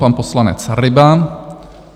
Pan poslanec Ryba.